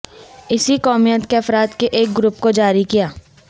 اسی قومیت کے افراد کے ایک گروپ کو جاری کیا